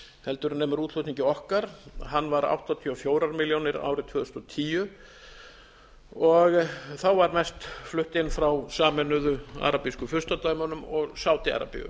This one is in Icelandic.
heldur en nemur útflutningi okkar hann var áttatíu og fjórar milljónir árið tvö þúsund og tíu og þá var mest flutt inn frá sameinuðu arabísku furstadæmunum og sádi arabíu